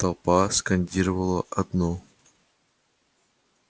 толпа скандировала одно